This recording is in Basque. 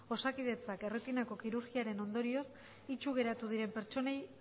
osakidetzak erretinako kirurgiaren ondorioz itsu geratu diren pertsonei